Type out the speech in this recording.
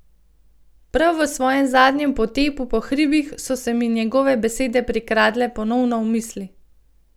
Prav v svojem zadnjem potepu po hribih, so se mi njegove besede prikradle ponovno v misli.